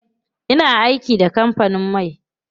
Ina aiki da kampanin man.